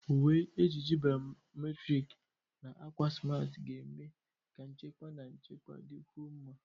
Uwe ejiji biometrik na akwa smart ga-eme ka nchekwa na nchekwa dịkwuo mma.